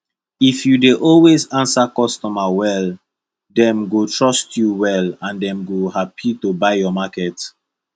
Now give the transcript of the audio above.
if you dey always answer customer well dem go trust you well and dem go happi to buy your market